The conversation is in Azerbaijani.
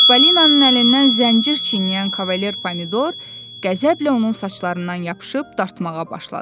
Çippolinanın əlindən zəncir çeynəyən kavalyer Pomidor, qəzəblə onun saçlarından yapışıb dartmağa başladı.